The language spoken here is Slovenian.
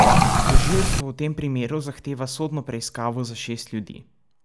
Tožilstvo v tem primeru zahteva sodno preiskavo za šest ljudi.